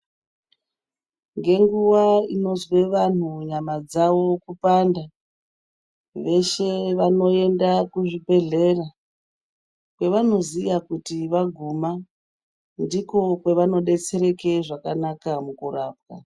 Ngenguva inozwe vantu nyama dzavo kupanda, veshe vanoenda kuzvibhedhlera. Kwevanoziya kuti vaguma ndiko kwavanobetsereke zvakanaka mukurapa.